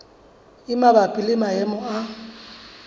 e mabapi le maemo a